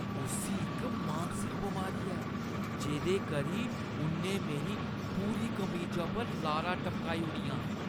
उस्सी इक मानसिक बमारी ऐ जेह्दे करी उʼन्नै मेरी पूरी कमीजा पर लारां टपकाई ओड़ियां।